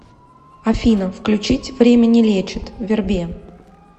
афина включить время не лечит вербее